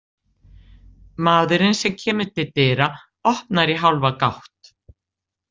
Maðurinn sem kemur til dyra opnar í hálfa gátt.